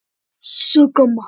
Já hún var góð.